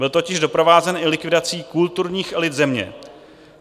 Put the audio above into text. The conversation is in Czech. Byl totiž doprovázen i likvidací kulturních elit země.